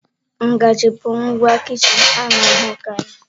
Ngaji bụ ngwa kichin a na-ahụkarị.